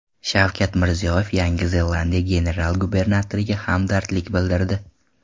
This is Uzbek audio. Shavkat Mirziyoyev Yangi Zelandiya general-gubernatoriga hamdardlik bildirdi.